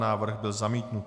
Návrh byl zamítnut.